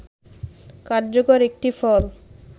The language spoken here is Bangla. কার্যকর একটি ফল